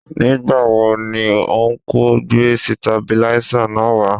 Nígbà wo ni ọnkú gbé sitabiláísà náà wá